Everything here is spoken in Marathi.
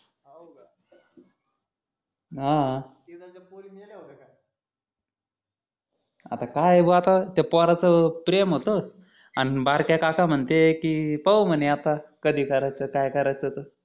हाहं इकडच्या पोरी मेल्या होत्या का आता काय भो आता त्या पोराचं प्रेम होत अन बारक्या काका म्हणते कि पाहू म्हणे आता आधी करायचं काय करायचं त